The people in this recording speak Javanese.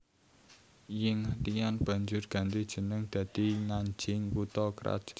Yingtian banjur ganti jeneng dadi Nanjing kutha krajan kidul